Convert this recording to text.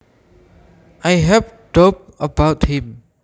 I have a doubt about him